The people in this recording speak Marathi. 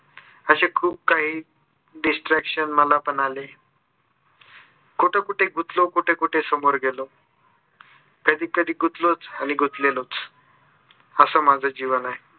असे खूप काही distraction मला पण आले. कोठे कोठे गुतलो कोठे कोठे समोर गेलो. कधी कधी गुतलोच आणि गुतलेलोच. असं माझं जीवन आहे.